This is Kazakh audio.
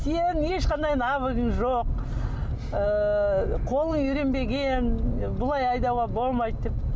сенің ешқандай навыгың жоқ ыыы қолың үйренбеген бұлай айдауға болмайды деп